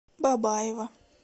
бабаево